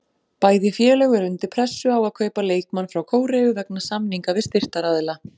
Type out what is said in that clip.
Bæði félög eru undir pressu á að kaupa leikmann frá Kóreu vegna samninga við styrktaraðila.